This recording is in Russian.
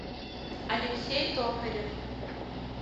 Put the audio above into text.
алексей токарев